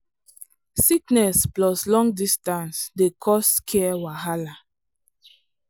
sickness plus long distance dey cause care wahala.